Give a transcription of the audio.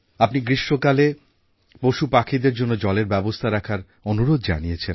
আপনি গ্রীষ্মকালে পশুপাখিদের জন্য জলের ব্যবস্থা রাখার অনুরোধ জানিয়েছেন